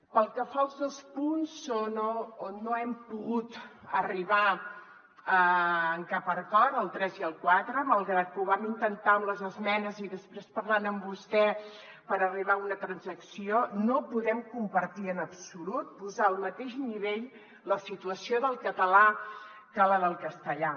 pel que fa als dos punts on no hem pogut arribar a cap acord el tres i el quatre malgrat que ho vam intentar amb les esmenes i després parlant amb vostè per arribar a una transacció no podem compartir en absolut posar al mateix nivell la situació del català que la del castellà